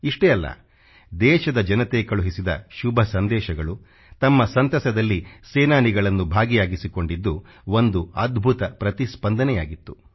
ಇಷ್ಟೇ ಅಲ್ಲ ದೇಶದ ಜನತೆ ಕಳುಹಿಸಿದ ಶುಭ ಸಂದೇಶಗಳು ತಮ್ಮ ಸಂತಸದಲ್ಲಿ ಸೇನಾನಿಗಳನ್ನು ಭಾಗಿಯಾಗಿಸಿಕೊಂಡಿದ್ದು ಒಂದು ಅದ್ಭುತ ಪ್ರತಿಸ್ಪಂದನೆಯಾಗಿತ್ತು